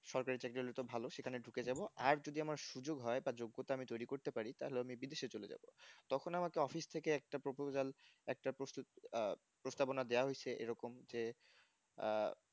সরকারি চাকরি হলে তো ভালো সেখানে ঢুকে যাব আর যদি আমার সুযোগ হয় বা যোগ্যতা আমি তৈরি করতে পারি তাহলে আমি বিদেশে চলে যাব তখন আমাকে office থেকে একটা proposal একটা প্রস্তুত আহ প্রস্তাবনা দেয়া হয়েছে এরকম যে আহ